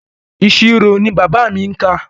Ìṣirò ni bàbá mi kà.